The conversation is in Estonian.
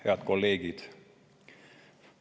Head kolleegid!